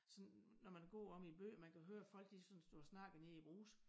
Sådan når man går omme i æ by man kan høre folk de sådan står og snakker i æ brugs